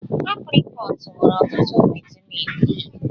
Aprịkọọt nwere ọtụtụ vaịtamịn E.